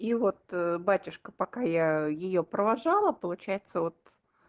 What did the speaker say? и вот батюшка пока я её провожала получается вот